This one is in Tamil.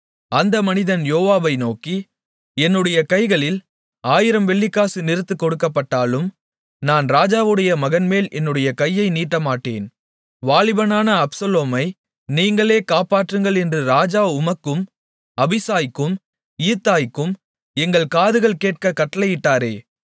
அந்த மனிதன் யோவாபை நோக்கி என்னுடைய கைகளில் ஆயிரம் வெள்ளிக்காசு நிறுத்துக் கொடுக்கப்பட்டாலும் நான் ராஜாவுடைய மகன்மேல் என்னுடைய கையை நீட்டமாட்டேன் வாலிபனான அப்சலோமை நீங்களே காப்பாற்றுங்கள் என்று ராஜா உமக்கும் அபிசாய்க்கும் ஈத்தாய்க்கும் எங்கள் காதுகள் கேட்கக் கட்டளையிட்டாரே